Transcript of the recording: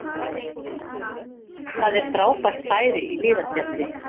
Það er frábært færi í Hlíðarfjalli